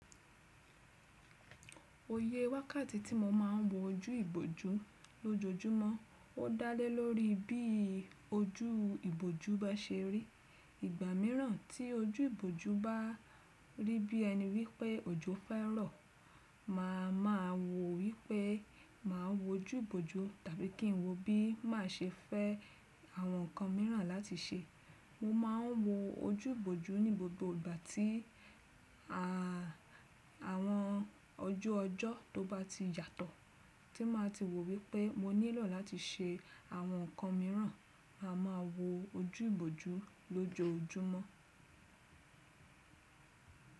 Iye wákàtí tí mo máa ń wo ojú ìbòjú lójoójúmọ́ ó dá lé lórí bí ojú ìbòjú bá ṣe rí. Ìgbà míràn tí ojú ìbòjú bá rí bí ẹni wípé òjò fẹ́ rọ̀, màá ma wò wípé màá wo ojú ìbòjú tàbí kí n wo bí má ṣe fẹ́ àwọn ǹkan míràn láti ṣe. Mo ma ń wo ojú ìbòjú ní gbogbo ìgbà tí àwọn ojú ọjọ́ tó bá ti yàtọ̀, tí máa ti wò wípé mo nílò láti ṣe àwọn ǹkan míràn, màá ma wo ojú ìbòjú lójoójúmọ́.